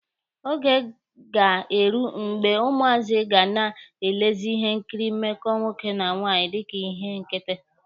Oge ga-eru mgbe ụmụazị ga na-elezi ihe nkiri mmekọ nwoke na nwaanyị dika ihe nkịtị.